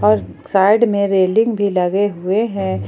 और साइड में रेलिंग भी लगे हुए हैं।